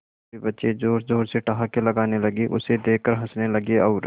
सभी बच्चे जोर जोर से ठहाके लगाने लगे उसे देख कर हंसने लगे और